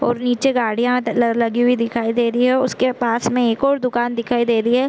ओर नीचे गाड़ियाँ त लल लगी हुई दिखाई दे रही है उसके पास में एक और दुकान दिखाई दे रही हैं ।